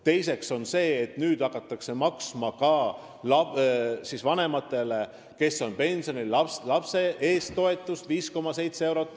Teiseks hakatakse nüüd maksma ka vanematele, kes on pensionil, lapsetoetust 5,7 eurot.